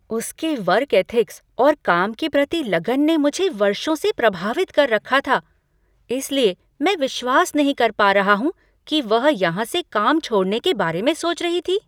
उसके work ethics और काम के प्रति लगन ने मुझे वर्षों से प्रभावित कर रखा था, इसलिए मैं विश्वास नहीं कर पा रहा हूँ कि वह यहाँ से काम छोड़ने के बारे में सोच रही थी।